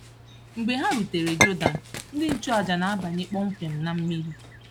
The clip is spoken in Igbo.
Mgbe ha rutere Jọdan, ndị nchụàjà na-abanye kpọmkwem na mmiri.